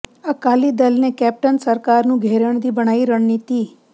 ਅਕਾਲੀ ਦਲ ਨੇ ਕੈਪਟਨ ਸਰਕਾਰ ਨੂੰ ਘੇਰਨ ਦੀ ਬਣਾਈ ਰਣਨੀਤੀ